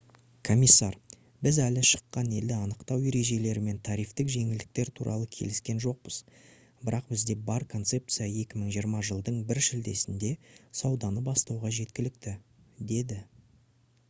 комиссар: «біз әлі шыққан елді анықтау ережелері мен тарифтік жеңілдіктер туралы келіскен жоқпыз бірақ бізде бар концепция 2020 жылдың 1 шілдесінде сауданы бастауға жеткілікті» - деді